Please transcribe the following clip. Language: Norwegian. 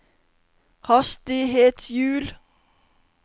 hastighetshjul